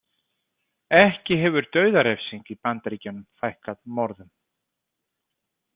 Ekki hefur dauðarefsing í Bandaríkjunum fækkað morðum.